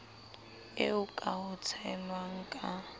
eo ka ho tshelwa ka